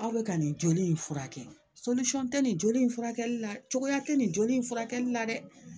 Aw bɛ ka nin joli in furakɛ tɛ nin joli in furakɛli la cogoya tɛ nin joli in furakɛli la dɛ